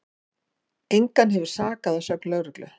Engan hefur sakað að sögn lögreglu